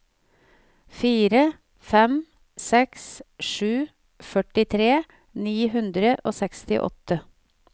fire fem seks sju førtitre ni hundre og sekstiåtte